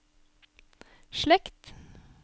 slekt